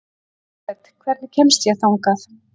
Jafet, hvernig kemst ég þangað?